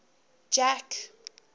jack